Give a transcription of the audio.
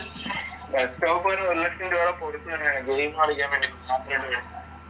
desktop തന്നെ ഒരു ലക്ഷം രൂപയുടെ ഗെയിം കളിക്കാൻ വേണ്ടി